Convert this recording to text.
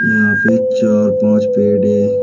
यहां पे चार पांच पेड़ है।